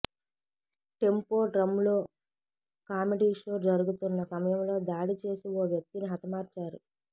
tempo డ్రమ్లో comedy show జరుగుతున్న సమయంలో దాడి చేసి ఓ వ్యక్తిని హతమార్చారు